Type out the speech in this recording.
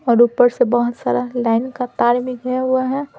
और ऊपर से बहुत सारा लाइन का तार भी गया हुआ है।